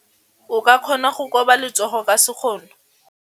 O ka kgona go koba letsogo ka sekgono.